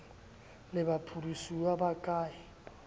le baphedisuwa ba ka e